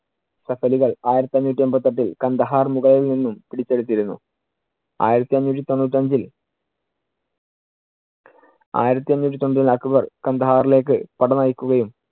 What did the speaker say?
ആയിരത്തി അഞ്ഞൂറ്റി എൺപത്തിയെട്ടിൽ കാണ്ഡഹാർ മുകളിൽ നിന്നും പിടിച്ചെടുത്തിരുന്നു. ആയിരത്തി അഞ്ഞൂറ്റി തൊണ്ണൂറ്റിയഞ്ചിൽ ആയിരത്തി അഞ്ഞൂറ്റി തൊണ്ണൂ~ അക്ബർ കാണ്ഡഹാറിലേക്ക് പട നയിക്കുകയും